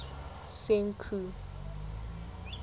senqu